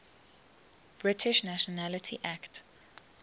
british nationality act